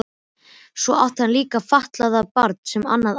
Svo átti hann líka fatlað barn og annað ættleitt.